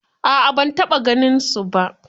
A'a ban taɓa ganinsu ba.